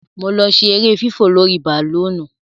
Mo lọ ṣe ere fífò lórí bàlóònù.